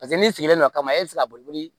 Paseke n'i sigilen don kaba e bɛ se ka boli